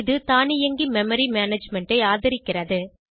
இது தானியங்கி memory management ஐ ஆதரிக்கிறது